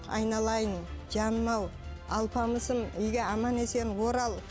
айналайын жаным ау алпамысым үйге аман есен орал